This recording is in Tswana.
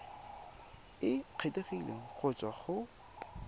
e kgethegileng go tswa go